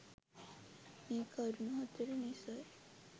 මේ කරුණු හතර නිසයි